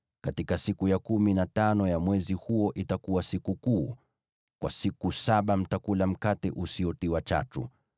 Katika siku ya kumi na tano ya mwezi huo itakuwa sikukuu; kwa siku saba mtakula mikate isiyotiwa chachu.